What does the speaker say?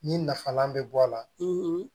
Ni nafalan bɛ bɔ a la